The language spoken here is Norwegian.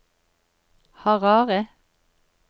Harare